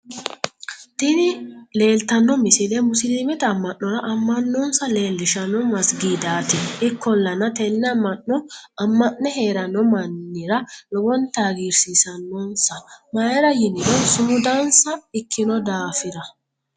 Tinni leelittano misile musilimette ama'norra ama'nosaa lelishshano maaigidaat ikkolanna tene ama'no ama'ne herrano mannira lowonitta hagirisissanossa mayra yinirro su'mudanissa ikkino dafirra